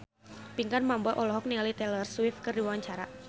Pinkan Mambo olohok ningali Taylor Swift keur diwawancara